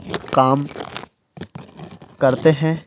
काम करते हैं।